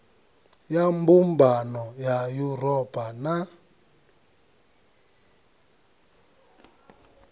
ya mbumbano ya yuropa na